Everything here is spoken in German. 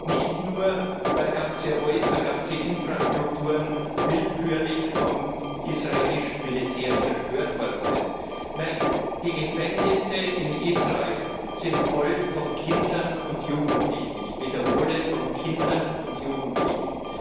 Nicht nur, weil ganze Häuser, ganze Infrastrukturen willkürlich vom israelischen Militär zerstört worden sind nein, die Gefängnisse in Israel sind voll von Kindern und Jugendlichen ich wiederhole von Kindern und Jugendlichen.